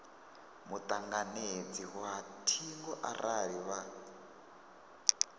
mutanganedzi wa thingo arali vha